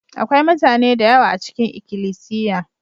Akwai mutane da yawa a cikin ikilisiya.